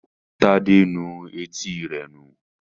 Tade nù Etí rẹ nu.